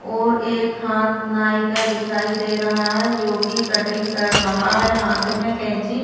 और एक हाथ नाई का दिखाई दे रहा है जोकि कटिंग कर रहा है। हाथ मे केंची --